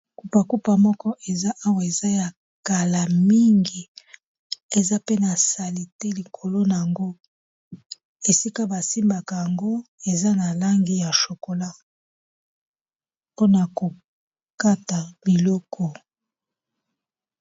Kupakupa moko eza awa eza ya kala mingi eza pe na salite likolo na yango esika ba simbaka yango eza na langi ya chocolat mpona ko kata biloko.